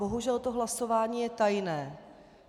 Bohužel to hlasování je tajné.